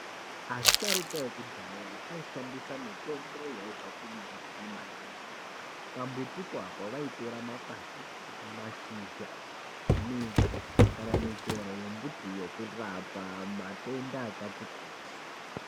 Asharuka ekudhaya aishandisa mitombo yaibva kumbuti maningi. Pambuti papo vaitora makwati, mashizha, midzi kana michero yembuti yokurapa matenda akati kuti.